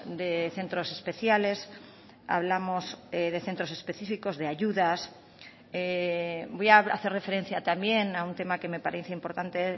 de centros especiales hablamos de centros específicos de ayudas voy a hacer referencia también a un tema que me parece importante